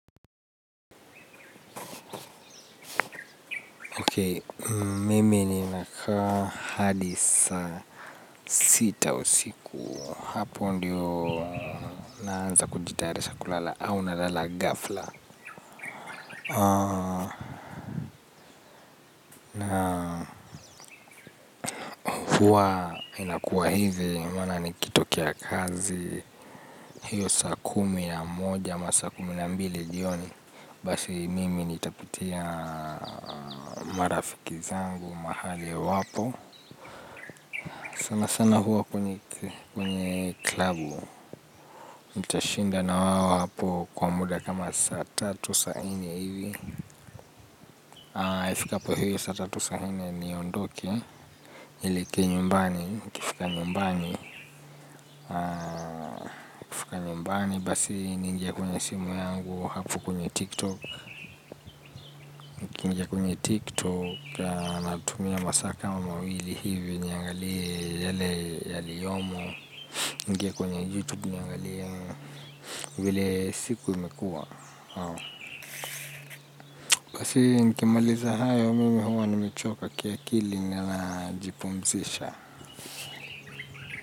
Mimi ninakaa hadi saa sita usiku. Hapo ndyo naanza kujitayarisha kulala ama nalala kighafla. Hua inakuwa hivi, maana nikitokra kazi, hiyo saa kumi na moja ama saa kumi na mbili jioni. Basi mimi nitapitia marafiki zangu mahali wapo. Sana sana huwa kwenye klabu. Nitashinda na wao hapo kwa muda kama saa tatu saa nne hivi. Ifikapo hiyo saa tatu saa nne niondoke nieleker nyumbani, nifika nyumbani. Nikifika nyumbani basi niingie kwenye simu yangu hapo kwenye tiktok. Nikiingia kwenye tiktok natumia masaa kama mawili hivi nuangalie yale yaliyomo. Niingie kwenye youtube niangalie vile siku imekuwa. Basi nikimaliza hayo mimi huwa nimechoka kiakili na najipumzisha.